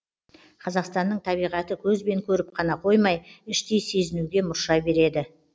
қазақстанның табиғаты көзбен көріп қана қоймай іштей сезінуге мұрша береді